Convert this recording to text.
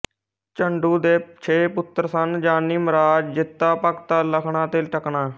ਝੰਡੂ ਦੇ ਛੇ ਪੁੱਤਰ ਸਨ ਜਾਨੀ ਮਰਾਜ਼ ਜਿੱਤਾ ਭਗਤਾ ਲਖਣਾ ਅਤੇ ਟਕਣਾ